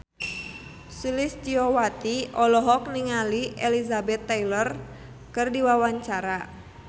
Sulistyowati olohok ningali Elizabeth Taylor keur diwawancara